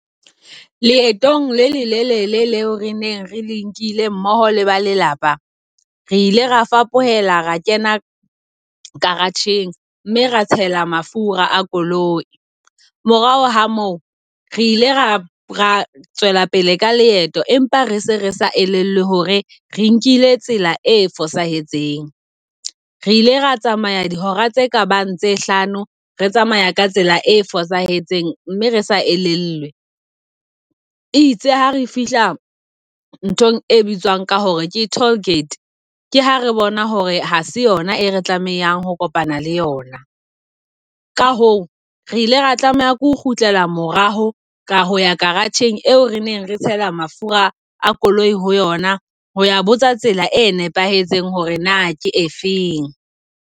Leetong le lelelele leo re neng re le nkile mmoho le ba lelapa. Re ile ra fapohela re kena karatjheng mme re tshela mafura a koloi. Morao ha mo re ile ra ra tswela pele ka leeto. Empa re se re sa elellwe hore re nkile tsela e fosahetseng. Re ile ra tsamaya dihora tse kabang tse hlano re tsamaya ka tsela e fosahetseng, mme re sa elellwe. Eitse ha re fihla nthong e bitswang ka hore ke tollgate, ke ha re bona hore ha se yona e re tlamehang ho kopana le yona. Ka hoo, re ile ra tlameha ke ho kgutlela morao ka ho ya garage-eng eo re neng re tshela mafura a koloi ho yona, ho ya botsa tsela e nepahetseng hore na ke efeng.